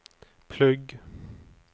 plugg